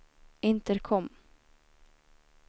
intercom